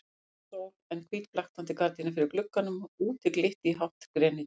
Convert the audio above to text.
Engin sól en hvít blaktandi gardína fyrir glugganum og úti glitti í hátt grenitré.